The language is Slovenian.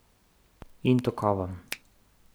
In tokovom.